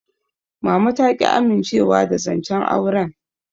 Mama ta ƙi amincewa da zancen auren.